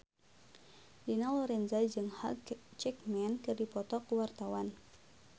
Dina Lorenza jeung Hugh Jackman keur dipoto ku wartawan